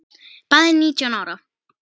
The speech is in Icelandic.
Bæði nítján ára.